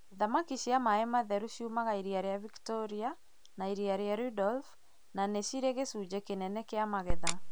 Thamaki cia maĩ matheru ciumaga iria rĩa Victoria na iria rĩa Rudolf na nĩ cirĩ gĩcunjĩ kĩnene kĩa magetha.